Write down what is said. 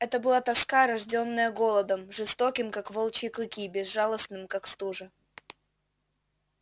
это была тоска рождённая голодом жестоким как волчьи клыки безжалостным как стужа